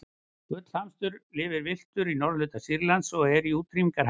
gullhamstur lifir villtur í norðurhluta sýrlands og er í útrýmingarhættu